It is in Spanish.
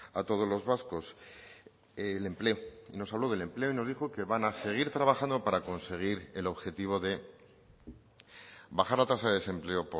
a todos los vascos el empleo nos habló del empleo y nos dijo que van a seguir trabajando para conseguir el objetivo de bajar la tasa de desempleo